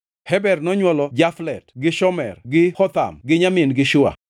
Heber nonywolo Jaflet gi Shomer gi Hotham gi nyamin-gi Shua.